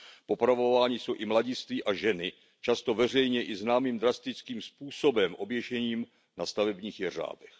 Popravováni jsou i mladiství a ženy, často veřejně i známým drastickým způsobem oběšením na stavebních jeřábech.